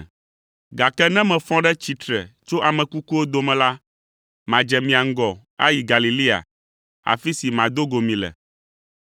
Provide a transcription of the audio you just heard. Gake ne mefɔ ɖe tsitre tso ame kukuwo dome la, madze mia ŋgɔ ayi Galilea, afi si mado go mi le.”